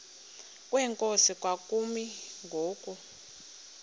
kwenkosi kwakumi ngoku